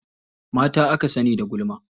Mata aka sani da gulma.